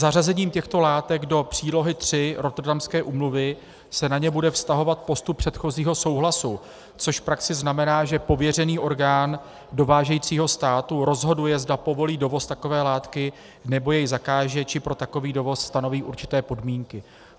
Zařazením těchto látek do přílohy III Rotterdamské úmluvy se na ně bude vztahovat postup předchozího souhlasu, což v praxi znamená, že pověřený orgán dovážejícího státu rozhoduje, zda povolí dovoz takové látky, nebo jej zakáže, či pro takový dovoz stanoví určité podmínky.